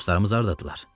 Dostlarımız hardadırlar?